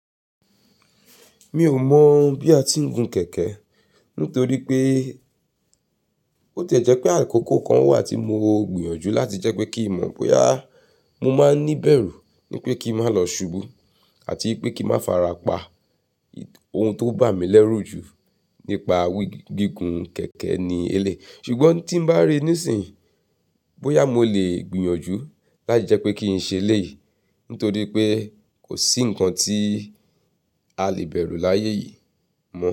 Mi ò mọ̀ bí a ti ń gun kẹ̀kẹ́. Nítorí pé ó ti è jẹ́ pé àkókò kan wà tí mo gbìyànjú láti jẹ́ pé kí mọ̀ bóyá mo máa ní bẹ̀rù ní pé kí n má lọ ṣubú àti pé kí má farapa. Ohun tó bà mí lẹ́rù jù nípa gígun kẹ̀kẹ́ ni elé. Ṣùgbọ́n tí n bá rí níìsín, bóyá mo lè gbìyànjú láti jẹ́ pé kí n ṣe eléyìí. Nítorí pé kò sí ǹkan tí a lè bẹ̀rù láyé yìí mọ́.